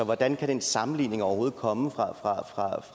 hvordan kan den sammenligning overhovedet komme fra